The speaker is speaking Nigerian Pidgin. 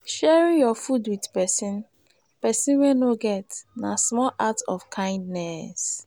sharing your food with person person wey no get na small act of kindness.